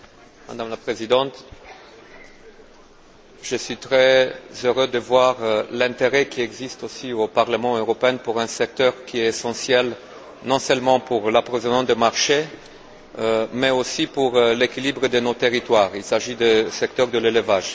Madame la Présidente, je suis très heureux de voir l'intérêt qui se manifeste, aussi au Parlement européen, pour un secteur qui est essentiel non seulement pour l'approvisionnement du marché, mais aussi pour l'équilibre de nos territoires il s'agit du secteur de l'élevage.